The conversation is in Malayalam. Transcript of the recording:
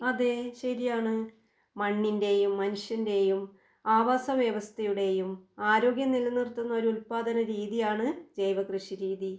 അതെ ശരിയാണ് മണ്ണിൻ്റെയും മനുഷ്യൻ്റെയും ആവാസവ്യവസ്ഥയുടെയും ആരോഗ്യം നിലനിർത്തുന്ന ഒരു ഉൽപാദന രീതിയാണ് ജൈവകൃഷിരീതി.